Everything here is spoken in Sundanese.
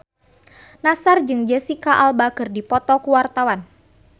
Nassar jeung Jesicca Alba keur dipoto ku wartawan